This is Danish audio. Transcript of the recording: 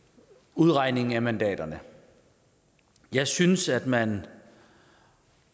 udregning af mandaterne jeg synes at man